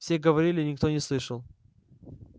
все говорили никто не слышал